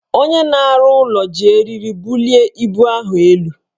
Onye na-arụ ụlọ ji eriri bulie ibu ahụ elu